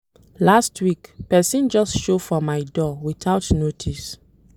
Last week, pesin just show for my door without notice.